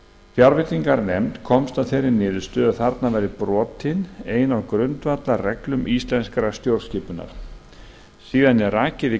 fjárveitinganefnd komst að þeirri niðurstöðu að þarna væri brotin ein af grundvallarreglum íslenskrar stjórnskipunar síðan er rakið í